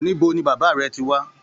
Níbo ní bàbá rẹ tí wá?